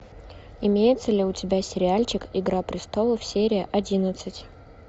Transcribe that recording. имеется ли у тебя сериальчик игра престолов серия одиннадцать